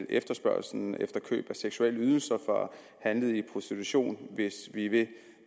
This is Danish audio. efterspørgslen efter køb af seksuelle ydelser fra handlede i prostitution hvis vi vil